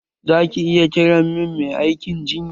Za ki iya kira min mai aikin jinya?